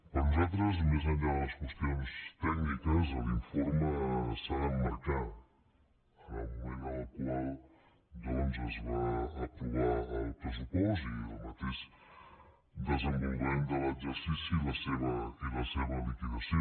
per nosaltres més enllà de les qüestions tècniques l’informe s’ha d’emmarcar en el moment en el qual es va aprovar el pressupost i el mateix desenvolupament de l’exercici i la seva liquidació